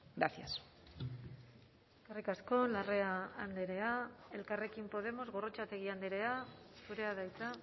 gracias eskerrik asko larrea andrea elkarrekin podemos gorrotxategi andrea zurea da hitza